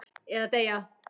Eða deyja.